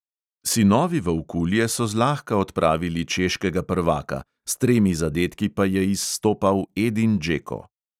Sinovi volkulje so zlahka odpravili češkega prvaka, s tremi zadetki pa je izstopal edin džeko.